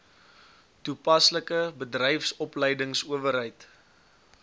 toe paslike bedryfsopleidingsowerheid